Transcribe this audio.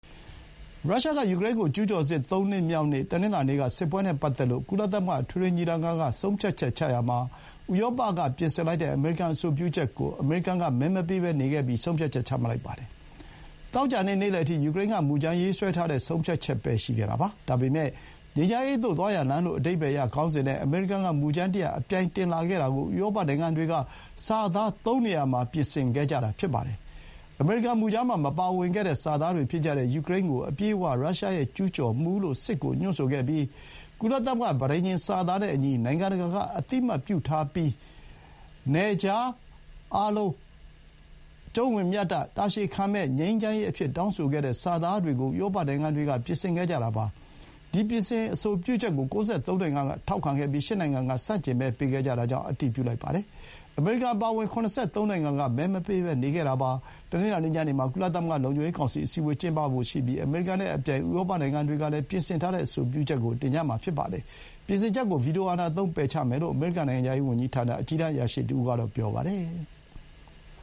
ရုရှားက ယူကရိန်းကို ကျူးကျော်စစ် သုံးနှစ်မြောက်နေ့ တနင်္လာနေ့က စစ်ပွဲနဲ့ပတ်သက်လို့ ကုလသမဂ္ဂအထွေထွေညီလာခံက ဆုံးဖြတ်ချက်ချရာမှာ ဥရောပက ပြင်ဆင်လိုက်တဲ့ အမေရိကန် အဆိုပြုချက်ကို အမေရိကန်က မဲမပေးဘဲ နေခဲ့ပြီး ဆုံးဖြတ်ချက် ချမှတ်လိုက်ပါတယ်။ သောကြာနေ့ နေလယ်အထိ ယူကရိန်းက မူကြမ်းရေးဆွဲထားတဲ့ ဆုံးဖြတ်ချက်ပဲ ရှိခဲ့တာပါ။ ဒါပေမဲ့ ငြိမ်းချမ်းရေးသို့ သွားရာလမ်းလို့ အဓိပ္ပါယ်ရခေါင်းစဥ်နဲ့ အမေရိကန်က မူကြမ်းတရပ် အပြိုင်တင်လာခဲ့တာကို ဥရောပနိုင်ငံတွေက စာသား သုံးနေရာ ပြင်ဆင်ခဲ့ကြတာ ဖြစ်ပါတယ်။ အမေရိကန်မူကြမ်းမှာ မပါဝင်ခဲ့တဲ့ စာသားတွေဖြစ်ကြတဲ့ ယူကရိန်းကို အပြည့်အဝ ရုရှားရဲ့ ကျူးကျော်မှုလို့ စစ်ကို ညွှန်းဆိုခဲ့ပြီး ကုလသမဂ္ဂ ပဋိညာဥ်စာသားနဲ့အညီ နိုင်ငံတကာက အသိအမှတ်ပြုထားပြီး နယ်ခြားအတွင်း၊ အားလုံးအကျုံးဝင်၊ မျှတ၊ တာရှည်ခံမယ့် ငြိမ်းချမ်းရေး အဖြစ် တောင်းဆိုခဲ့တဲ့ စာသားတွေကို ဥရောပနိုင်ငံတွေက ပြင်ဆင်ခဲ့ကြတာပါ။ ဒီ ပြင်ဆင် အဆိုပြုချက်ကို ၉၃ နိုင်ငံက ထောက်ခံပြီး ၈ နိုင်ငံက ဆန့်ကျင်မဲ ပေးခဲ့ကြတာကြောင့် အတည်ပြုလိုက်ပါတယ်။ အမေရိကန်အပါအဝင် ၇၃ နိုင်ငံက မဲမပေးဘဲ နေခဲ့တာပါ။ တနင်္လာနေ့ ညနေမှာ ကုလသမဂ္ဂလုံခြုံရေးကောင်စီ အစည်းအဝေး ကျင်းပဖို့ ရှိပြီး အမေရိကန်က သူ့ မူရင်း အဆိုပြုချက်ကို တင်မှာဖြစ်သလို ဥရောပနိုင်ငံတွေကလည်း အချက် ၃ ချက် ပြင်ဆင်ထားတဲ့ အဆိုပြုချက်ကို တင်ကြမှာဖြစ်ပါတယ်။ ပြင်ဆင်ချက်ကို ဗီတိုအာဏာသုံး ပယ်ချမယ်လို့ အမေရိကန် နိုင်ငံခြားရေးဝန်ကြီးဌာန အကြီးတန်းအရာရှိတဦးက ပြောပါတယ်။